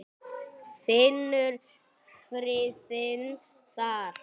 Finnur friðinn þar.